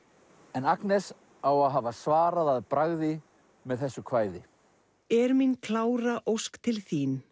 en Agnes á að hafa svarað að bragði með þessu kvæði er mín klára ósk til þín